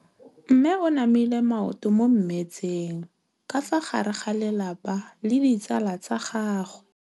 Mme o namile maoto mo mmetseng ka fa gare ga lelapa le ditsala tsa gagwe.